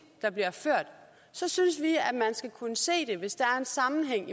der bliver ført så synes vi at man skal kunne se det hvis der er en sammenhæng